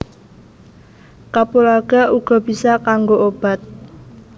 Kapulaga uga bisa kanggo obat